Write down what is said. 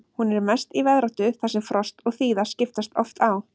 Hún er mest í veðráttu þar sem frost og þíða skiptast oft á.